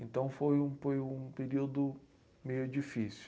Então foi um, foi um período meio difícil.